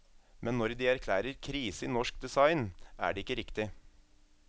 Men når de erklærer krise i norsk design, er det ikke riktig.